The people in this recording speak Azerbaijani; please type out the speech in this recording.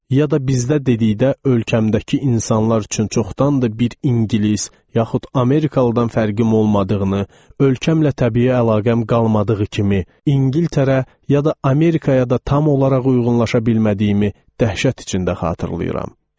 Ya da bizdə dedikdə ölkəmdəki insanlar üçün çoxdandır bir ingilis yaxud Amerikalıdan fərqim olmadığını, ölkəmlə təbii əlaqəm qalmadığı kimi, İngiltərə ya da Amerikaya da tam olaraq uyğunlaşa bilmədiyimi dəhşət içində xatırlayıram.